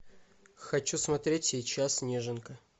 хочу смотреть сейчас неженка